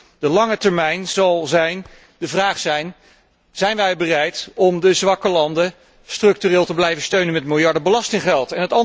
Voor de lange termijn zal de vraag zijn of wij bereid zijn om de zwakke landen structureel te blijven steunen met miljarden belastinggeld.